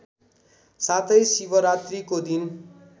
साथै शिवरात्रीको दिन